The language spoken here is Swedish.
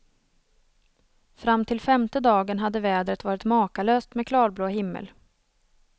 Fram till femte dagen hade vädret varit makalöst med klarblå himmel.